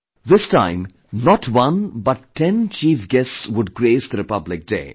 This time, not one but Ten chief guests would grace the Republic Day